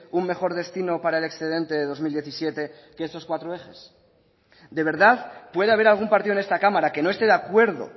un mejor destino para el excedente de dos mil diecisiete que estos cuatro ejes de verdad puede haber algún partido en esta cámara que no esté de acuerdo